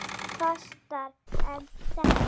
Davíð Fastara en þetta á.